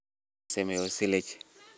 Marka la samaynayo Silage;